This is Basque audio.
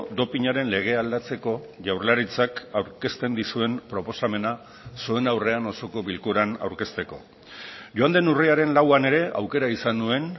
dopinaren legea aldatzeko jaurlaritzak aurkezten dizuen proposamena zuen aurrean osoko bilkuran aurkezteko joan den urriaren lauan ere aukera izan nuen